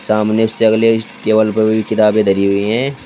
सामने टेबल पर की किताबें धरी हुई है।